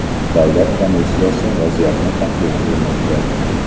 Davlat komissiyasi vaziyatni tahlil qilmoqda.